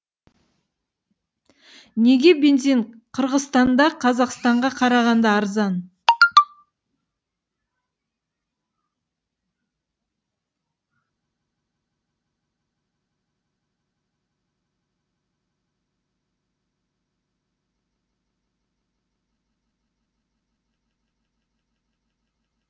неге бензин қырғызстанда қазақстанға қарағанда арзан